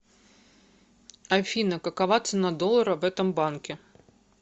афина какова цена доллара в этом банке